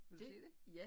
Vil du se det?